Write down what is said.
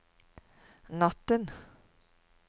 natten